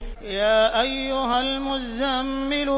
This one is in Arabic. يَا أَيُّهَا الْمُزَّمِّلُ